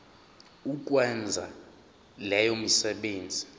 ukwenza leyo misebenzi